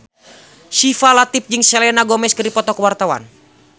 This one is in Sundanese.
Syifa Latief jeung Selena Gomez keur dipoto ku wartawan